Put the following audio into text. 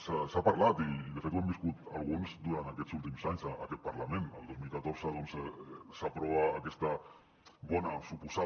se n’ha parlat i de fet ho hem viscut alguns durant aquests últims anys a aquest parlament el dos mil catorze doncs s’aprova aquesta bona suposada